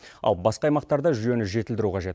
ал басқа аймақтарда жүйені жетілдіру қажет